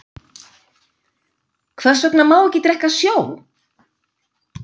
Hvers vegna má ekki drekka sjó?